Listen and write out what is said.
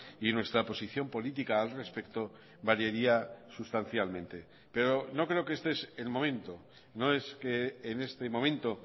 y nuestra posición política al respecto variaría sustancialmente pero no creo que este es el momento no es que en este momento